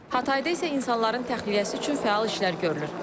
Hatayda isə insanların təxliyəsi üçün fəal işlər görülür.